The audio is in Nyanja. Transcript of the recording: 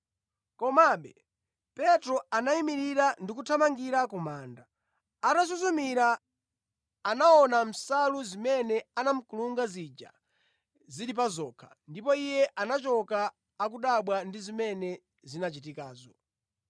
Komabe Petro anayimirira ndi kuthamangira ku manda. Atasuzumira, anaona nsalu zimene anamukulungira zija zili pa zokha, ndipo iye anachoka, akudabwa ndi zimene zinachitikazo.